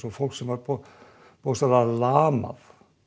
fólk sem var bókstaflega lamað